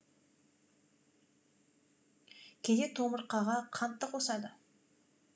кейде томыртқаға қант та қосады